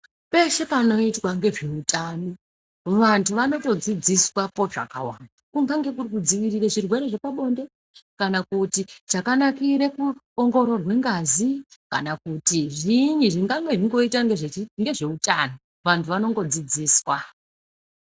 Peshe panoitwa ngezveutano vantu vanotodzidziswa potsvakawa kunyangwe kuri kudziwirira zvirwere zvepabonde kana kuti chakanakire kuongororwe ngazi kana kuti zviinyi zvingange zvichingoita ngezvechii ngezveutano vantu vanongodzidziswa.